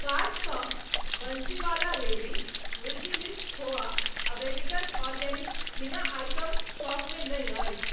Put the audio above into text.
कार्टसँ बंसीवाला रेवड़ी, Milky Mist खोवा आ वेजिटल आर्गेनिक हिना आइटम स्टॉकमे नहि अछि।